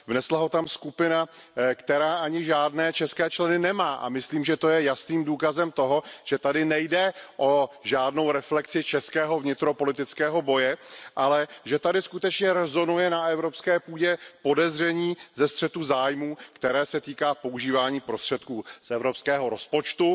Vnesla ho tam skupina, která ani žádné české členy nemá, a myslím, že to je jasným důkazem toho, že tady nejde o žádnou reflexi českého vnitropolitického boje, ale že tady skutečně na evropské půdě rezonuje podezření ze střetu zájmů, které se týká používání prostředků z evropského rozpočtu.